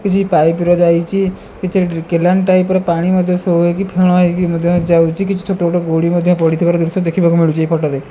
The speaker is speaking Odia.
କିଛି ପାଇପ୍ ର ଯାଇଚି କିଛି ଡ୍ରି କେନାଲ ଟାଇପର୍ ପାଣି ମଧ୍ୟ ସୋ ହୋଇକି ଫେଣ ମଧ୍ୟ ଯାଉଚି କିଛି ଛୋଟ ବଡ ଗୋଡି ମଧ୍ୟ ପଡ଼ିଥିବାର ଦୃଶ୍ୟ ଦେଖିବାକୁ ମିଳୁଚି ଏଇ ଫଟ ରେ।